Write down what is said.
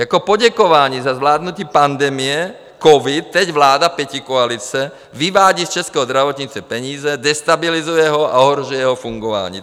Jako poděkování za zvládnutí pandemie covidu teď vláda pětikoalice vyvádí z českého zdravotnictví peníze, destabilizuje ho a ohrožuje jeho fungování.